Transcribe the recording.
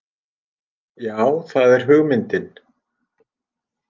Já það er hugmyndin.